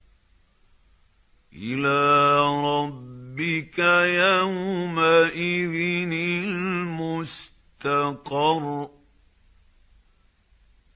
إِلَىٰ رَبِّكَ يَوْمَئِذٍ الْمُسْتَقَرُّ